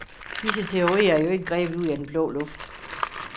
Disse teorier er jo ikke grebet ud af den blå luft.